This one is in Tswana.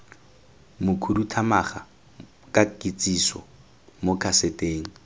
mokhuduthamaga ka kitsiso mo kaseteng